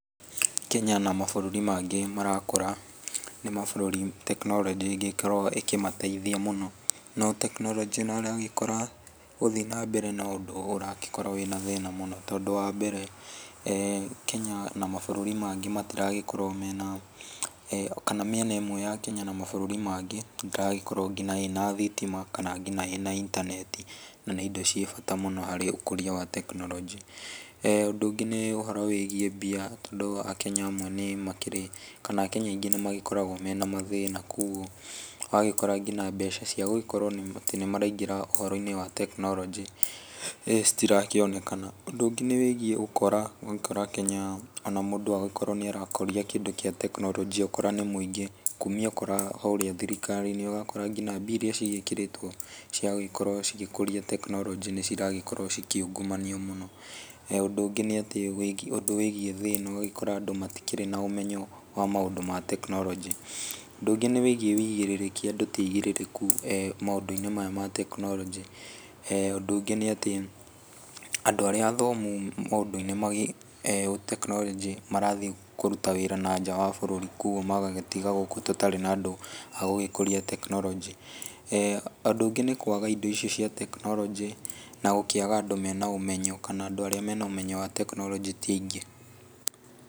Kenya na mabũrũri mangĩ marakũra nĩ mabũrũri tekinoronjĩ ĩngĩkorwo ĩkĩmateithia mũno. No tekinoronjĩ nĩ ũragĩkora gũthiĩ na mbere na ũndũ ũragĩkorwo wĩna thĩna mũno, tondũ wa mbere, Kenya na mabũrũri mangĩ matiragĩkorwo mena, kana mĩena ĩmwe ya Kenya na mabũrũri mangĩ ndĩragĩkorwo nginya ĩna thitima kana ĩna nginya intaneti, na nĩ indo ciĩ bata mũno harĩ ũkũria wa tekinoronjĩ. Ũndũ ũngĩ nĩ ũhoro wĩgiĩ mbia tondũ Akenya amwe nĩ makĩrĩ, kana Akenya aingĩ nĩ magĩkoragwo mena mathĩna, kogwo ũragĩkora nginya mbeca cia gũgĩkorwo nĩ maraingĩra ũhoro-inĩ wa tekinoronjĩ citirakĩonekana. Ũndũ ũngĩ nĩ wĩgiĩ ũkora. Ũgakora Kenya ona mũndũ agĩkorwo nĩ arakũria kĩndũ kĩa tekinoronjĩa ũkora nĩ mũingĩ. Kumia ũkora kũrĩa thirikari-inĩ ũgakora nginya mbia iria cigĩkĩrĩtwo cia gũgĩkorwo cigĩkũria tekinoronjĩ nĩ ciragĩkorwo cikiungumanio mũno. Ũndũ ũngĩ nĩ atĩ, ũndũ wĩgiĩ thĩna. Ũgagĩkora andũ matikĩrĩ na ũmenyo wa maũndũ ma tekinoronjĩ. Ũndũ nĩ wĩgiĩ ũigĩrĩrĩki, andũ ti aigĩrĩrĩku maũndũ-inĩ maya ma tekinoronjĩ. Ũndũ ũngĩ nĩ atĩ andũ arĩa athomu maũndũ-inĩ megiĩ tekinoronjĩ marathiĩ kũruta wĩra na nja wa bũrũri, koguo magagĩtiga gũkũ tũtarĩ na andũ a gũgĩkũria tekinoronjĩ. Ũndũ ũngĩ nĩ kwaga indo icio cia tekinoronjĩ na gũkĩaga andũ me na ũmenyo, kana andũ arĩa me na ũmenyo wa tekinoronjĩ ti aingĩ.